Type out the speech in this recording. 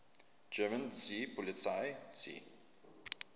german seepolizei sea